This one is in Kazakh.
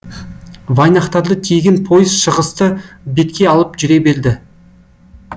вайнахтарды тиеген пойыз шығысты бетке алып жүре берді